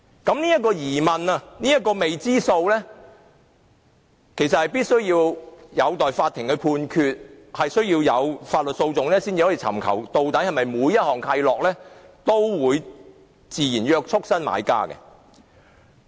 其實，這個疑問或未知數必須有待法院判決，以及需要透過法律訴訟才能尋求究竟是否每項契諾均會自然約束新買家。